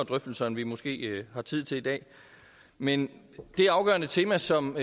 drøftelser end vi måske har tid til i dag men det afgørende tema som